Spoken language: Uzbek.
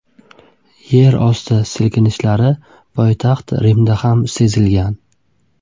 Yerosti silkinishlari poytaxt Rimda ham sezilgan.